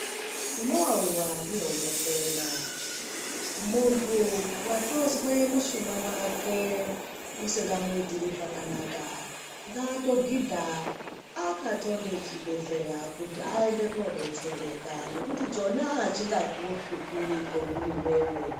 Unowawiwa ndiye unokwenya muntu watozwa mushuna wake usikamuitira zvakanaka ngaatogidha akathonde chibhedhlera awoneke kubetsereka .